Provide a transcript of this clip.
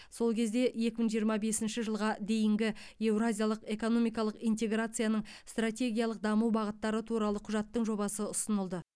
сол кезде екі мың жиырма бесінші жылға дейінгі еуразиялық экономикалық интеграцияның стратегиялық даму бағыттары туралы құжаттың жобасы ұсынылды